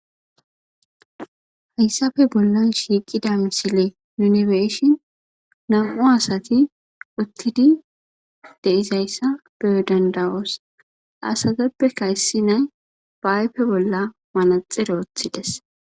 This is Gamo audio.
hayssafe bollan shiiqida misile nunibeshin nam7u asati uttidi deizayssa beo dandawoos asateppe ka yssi nay baaype bolla manaxiroothides